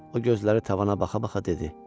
O gözləri tavana baxa-baxa dedi.